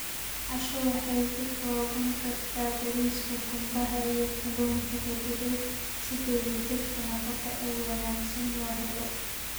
Casho waxay ka koobnaan kartaa bariiska qumbaha iyo kalluunka la dubay si dheellitirka nafaqo ee wanaagsan loo helo.